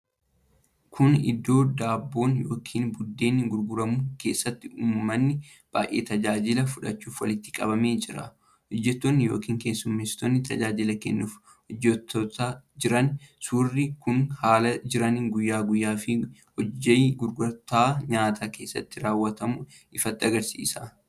Kun iddoo daabboon yookiin buddeenni gurguramu keessatti uummanni baay’een tajaajila fudhachuuf walitti qabamee jira. Hojjattoonni yookiin keessummessitoonni tajaajila kennuuf hojjettoota jiran. Suurri kun haala jireenya guyyaa guyyaa fi hojii gurgurtaa nyaataa keessatti raawwatamu ifatti agarsiisa.